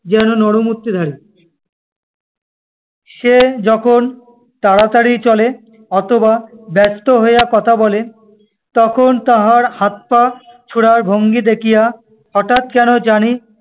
যেন নরমূর্তিধারী। সে যখন তাড়াতাড়ি চলে অথবা ব্যস্ত হইয়া কথা বলে, তখন তাহার হাত পা ছোঁড়ার ভঙ্গী দেখিয়া হাঠাৎ কেন জানি